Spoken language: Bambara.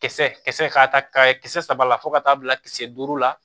Kisɛ kisɛ k'a ta ka kisɛ saba la fo ka taa bila kisɛ duuru la